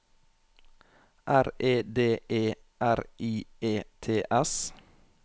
R E D E R I E T S